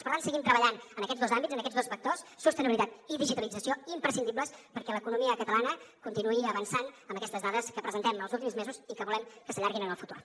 per tant seguim treballant en aquests dos àmbits en aquests dos vectors sostenibilitat i digitalització imprescindibles perquè l’economia catalana continuï avançant amb aquestes dades que presentem els últims mesos i que volem que s’allarguin en el futur